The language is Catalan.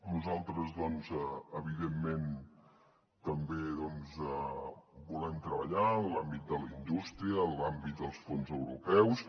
nosaltres doncs evidentment també volem treballar en l’àmbit de la indústria en l’àmbit dels fons europeus